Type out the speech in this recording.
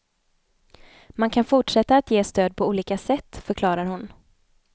Man kan fortsätta att ge stöd på olika sätt, förklarar hon.